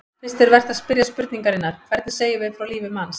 Fyrst er vert að spyrja spurningarinnar: hvernig segjum við frá lífi manns?